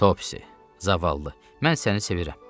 Topsi, zavallı, mən səni sevirəm.